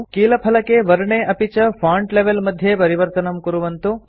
कीलफलके keyboard वर्णे अपि च फॉन्ट लेवल मध्ये परिवर्तनं कुर्वन्तु